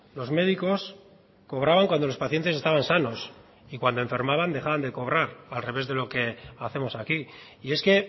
los médicos cobraban cuando los pacientes estaban sanos y cuando enfermaban dejaban de cobrar al revés de lo que hacemos aquí y es que